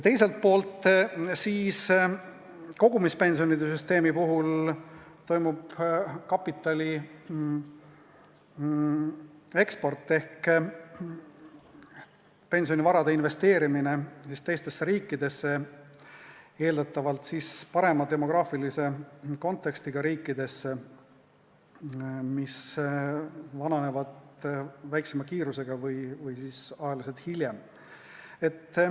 Teiselt poolt toimub kogumispensionisüsteemi puhul kapitali eksport ehk pensionivarade investeerimine teistesse riikidesse, eeldatavalt parema demograafilise kontekstiga riikidesse, mis vananevad väiksema kiirusega või hiljem.